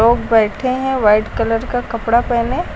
लोग बैठे हैं वाइट कलर का कपड़ा पहने।